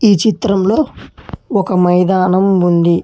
ఈ చిత్రంలో ఒక మైదానం ఉంది.